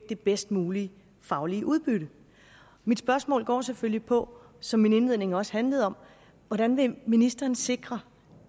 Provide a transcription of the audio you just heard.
det bedst mulige faglige udbytte mit spørgsmål går selvfølgelig på som min indledning også handlede om hvordan ministeren vil sikre